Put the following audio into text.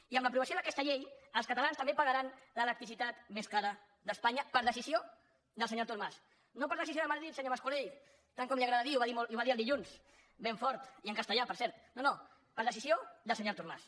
i amb l’aprovació d’aquesta llei els catalans també pagaran l’electricitat més cara d’espanya per decisió del senyor artur mas no per decisió de madrid senyor mas colell tant com li agrada dir i ho va dir el dilluns ben fort i en castellà per cert no no per decisió del senyor artur mas